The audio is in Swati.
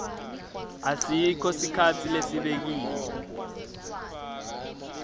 asikho sikhatsi lesibekiwe